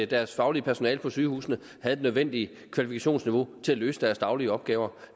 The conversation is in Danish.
deres faglige personale på sygehusene havde det nødvendige kvalifikationsniveau til at løse deres daglige opgaver